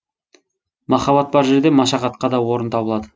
махаббат бар жерде машақатқа да орын табылады